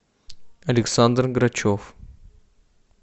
александр грачев